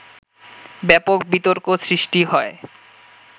ব্যাপক বিতর্ক সৃষ্টি হয়